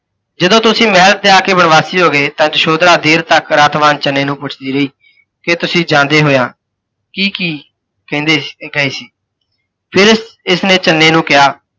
ਜਦੋਂ ਤੁਸੀਂ ਮਹਿਲ ਤਿਆਗ ਕੇ ਵਣਵਾਸੀ ਹੋ ਗਏ ਤਾਂ ਯਸ਼ੋਧਰਾ ਦੇਰ ਤੱਕ ਰੱਥਵਾਹਿ ਚੰਨੇ ਨੂੰ ਪੁਛੱਦੀ ਰਹੀ, ਕਿ ਤੁਸੀਂ ਜਾਂਦੇ ਹੋਇਆਂ ਕੀ ਕੀ ਕਹਿੰਦੇ ਗਏ ਸੀ। ਫਿਰ ਇਸ ਇਸਨੇ ਚੰਨੇ ਨੂੰ ਕਿਹਾ